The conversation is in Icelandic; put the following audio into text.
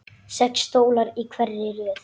Sex stólar í hverri röð.